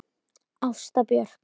Ásta Björk.